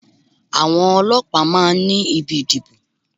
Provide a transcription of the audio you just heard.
Àwọn ọlọ́pàá máa ní ibi ìdìbò.